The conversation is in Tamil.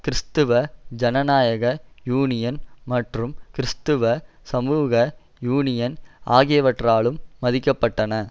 கிறிஸ்தவ ஜனநாயக யூனியன் மற்றும் கிறிஸ்தவ சமூக யூனியன் ஆகியவற்றாலும் மதிக்கப்பட்டன